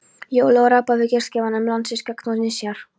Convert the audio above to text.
Hóli og rabba við gestgjafana um landsins gagn og nauðsynjar.